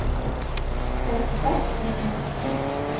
sekstiseks tusen og atten